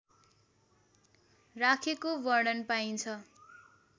राखेको वर्णन पाइन्छ